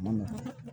A ma nɔgɔ